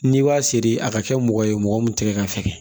N'i b'a seri a ka kɛ mɔgɔ ye mɔgɔ min tɛgɛ ka fɛkɛ